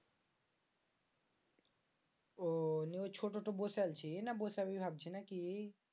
আহ ছোটলটা বসাই পেলছিস নাকি বসাবি ভাবছিস নাকি?